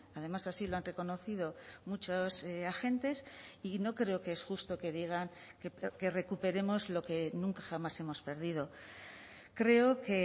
además así lo han reconocido muchos agentes y no creo que es justo que digan que recuperemos lo que nunca jamás hemos perdido creo que